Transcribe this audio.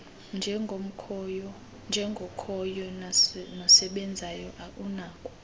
njengokhoyo nosebenzayo unako